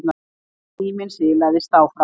Tíminn silaðist áfram.